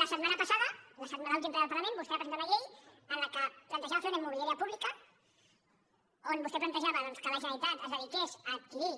la setmana passada a l’últim ple del parlament vostè va presentar una llei en la qual plantejava fer una immobiliària pública en què vostè plantejava que la generalitat es dediqués a adquirir